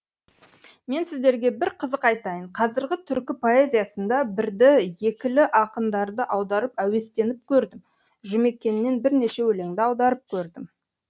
мен сіздерге бір қызық айтайын қазіргі түркі поэзиясына бірді екілі ақындарды аударып әуестеніп көрдім жұмекеннен бірнеше өлеңді аударып көрдім